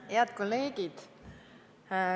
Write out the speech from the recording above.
Head kolleegid!